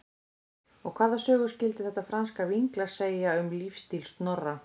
Og hvaða sögu skyldi þetta franska vínglas segja um lífsstíl Snorra?